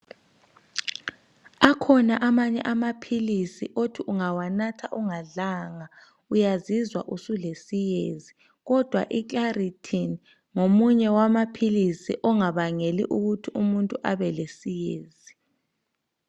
Akhona amanye amapills othi ungawanatha ungadlanga uyazizwa usulesiyezi kodwa iclaritin ngomunye wamapills ongabangeli ukuthi umuntu abelesiyezi